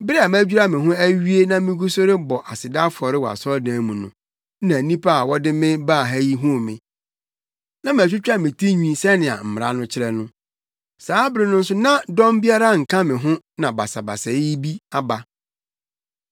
Bere a madwira me ho awie na migu so rebɔ aseda afɔre wɔ asɔredan no mu no, na nnipa a wɔde me baa ha yi huu me. Na matwitwa me tinwi sɛnea mmara no kyerɛ no. Saa bere no nso na dɔm biara nka me ho na basabasayɛ bi aba.